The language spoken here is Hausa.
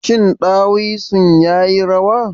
Shin ɗawisun ya yi rawa?